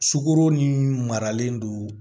Sukoro ni maralen don